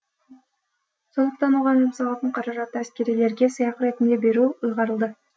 сондықтан оған жұмсалатын қаражатты әскерилерге сыйақы ретінде беру ұйғарылды